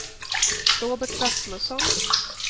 Robert Rasmusson